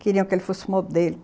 Queriam que ele fosse modelo.